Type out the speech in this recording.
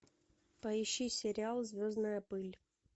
поищи сериал звездная пыль